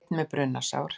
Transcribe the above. Einn með brunasár